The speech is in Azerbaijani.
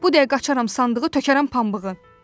Bu dəqiqə açaram sandığı, tökərəm pambığı.